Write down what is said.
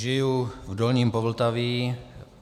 Žiji v dolním Povltaví.